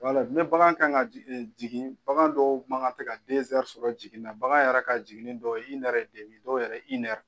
Ni bagan kan ka jigin bagan dɔw ma kan tɛ ka sɔrɔ jiginni na, bagan yɛrɛ ka jigin dɔw ye dɔw yɛrɛ